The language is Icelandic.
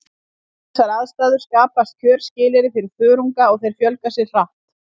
Við þessar aðstæður skapast kjörskilyrði fyrir þörunga og þeir fjölga sér hratt.